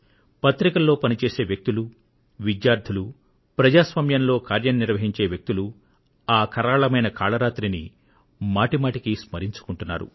పత్రికల్లో పని చేసే వ్యక్తులు విద్యార్థులు ప్రజాస్వామ్యంలో కార్యం నిర్వహించే వ్యక్తులు ఆ కరాళమైన కాళరాత్రిని మాటిమాటికీ స్మరించుకుంటున్నారు